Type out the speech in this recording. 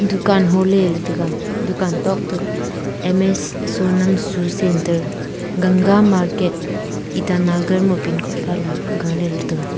dukan hole ley taiga dukan tok te ms Sonam shoe centre ganga market itanagar ma pincode phale gale ley taiga.